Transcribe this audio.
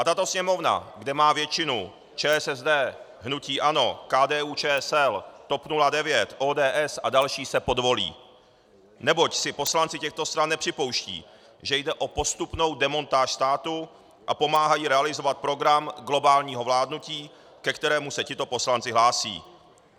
A tato Sněmovna, kde má většinu ČSSD, hnutí ANO, KDU-ČSL, TOP 09, ODS a další, se podvolí, neboť si poslanci těchto stran nepřipouštějí, že jde o postupnou demontáž státu, a pomáhají realizovat program globálního vládnutí, ke kterému se tito poslanci hlásí.